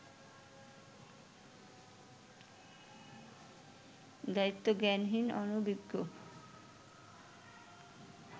দায়িত্বজ্ঞানহীন, অনভিজ্ঞ